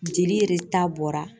Jeli bɔra.